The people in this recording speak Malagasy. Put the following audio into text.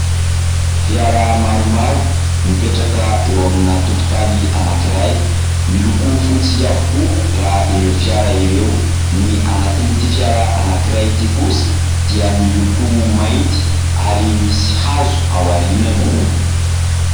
Fiara maromaro mipetraka eo amina tokotany anankiray. Miloko fotsy avokoa raha ireo fiara ireo. Ny anatin'ity fiara anankiray ity kosa dia miloko mainty ary misy hazo ao aorianany.